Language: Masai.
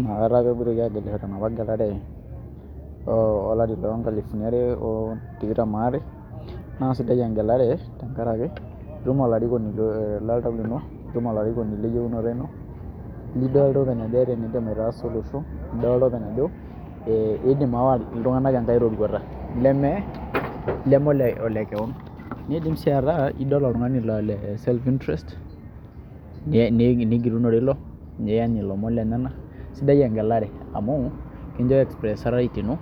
Inakata apa epoitoi aagelisho tenapa gelare olari loongalifuni are o tikitam aare naa sidai engelare tenkaraki itum olarikoni ee loltau lino, olarikoni leyiunoto ino, lidoltata ajo eeta eniadim aitaasa olosho lildoltata ajo iidim aawa ntae enkae roruata leme olekeon niidim sii ataa idol oltung'ani oota self interest nigilunore ilo niany ilomon lenyenak. Sidai engeare amu kincho expressa rights ino